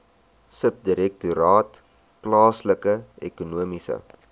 subdirektoraat plaaslike ekonomiese